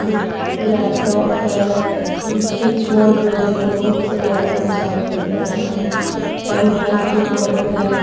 Laptop है switch board लगे है बहोत से लैपटॉप साइट पे पड़े है। पेन ड्राइव की फोटो है।